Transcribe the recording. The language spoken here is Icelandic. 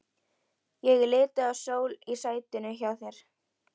Ég er lituð af sól í sætinu hjá þér.